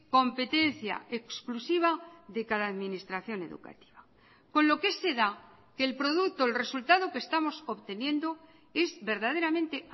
competencia exclusiva de cada administración educativa con lo que se da que el producto el resultado que estamos obteniendo es verdaderamente